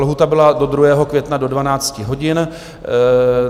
Lhůta byla do 2. května do 12 hodin.